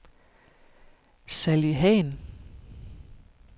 Sally Hahn